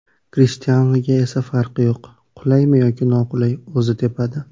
Krishtianuga esa farqi yo‘q, qulaymi yoki noqulay o‘zi tepadi.